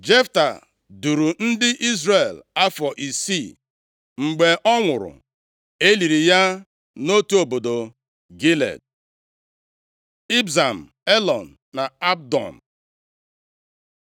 Jefta duuru ndị Izrel afọ isii. Mgbe ọ nwụrụ, e liri ya nʼotu obodo Gilead. Ibzan, Elọn, na Abdon